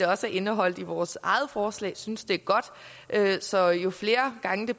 også indeholdt i vores eget forslag vi synes det er godt så jo flere gange det